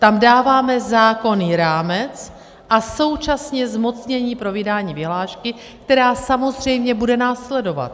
Tam dáváme zákonný rámec a současně zmocnění pro vydání vyhlášky, která samozřejmě bude následovat.